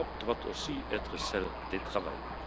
L'Europe doit aussi être celle des travailleurs.